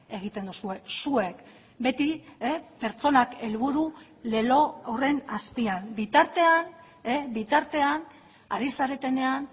egiten duzue zuek beti pertsonak helburu lelo horren azpian bitartean bitartean ari zaretenean